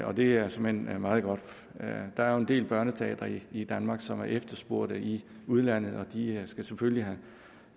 og det er såmænd meget godt der er jo en del børneteatre i danmark som er efterspurgt i udlandet og de skal selvfølgelig